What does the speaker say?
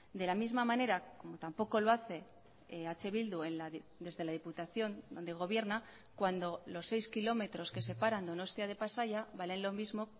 de la misma manera como tampoco lo hace eh bildu desde la diputación donde gobierna cuando los seis kilómetros que separan donostia de pasaia valen lo mismo